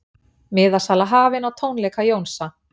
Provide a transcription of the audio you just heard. Miðasala hafin á tónleika Jónsa